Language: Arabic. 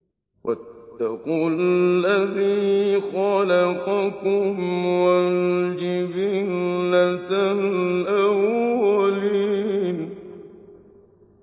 وَاتَّقُوا الَّذِي خَلَقَكُمْ وَالْجِبِلَّةَ الْأَوَّلِينَ